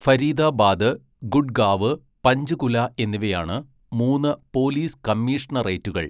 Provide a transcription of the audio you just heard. ഫരീദാബാദ്, ഗുഡ്ഗാവ്, പഞ്ച്കുല എന്നിവയാണ് മൂന്ന് പോലീസ് കമ്മീഷണറേറ്റുകൾ.